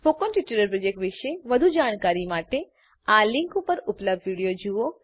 spoken tutorial project વિશે વધુ જાણકારી માટે આ લીંક પર ઉપલબ્ધ વિડીયો જુઓ